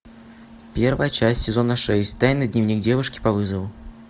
первая часть сезона шесть тайный дневник девушки по вызову